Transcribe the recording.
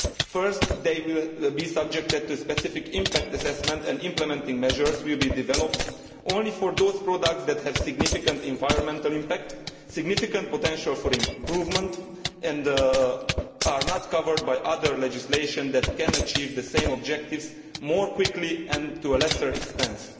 First, they will be subject to specific impact assessment, and implementing measures will be developed only for those products that have significant environmental impact, have significant potential for improvement and are not covered by other legislation that can achieve the same objectives more quickly and with less expense.